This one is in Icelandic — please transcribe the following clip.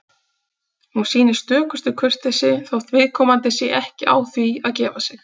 Hún sýnir stökustu kurteisi, þótt viðkomandi sé ekki á því að gefa sig.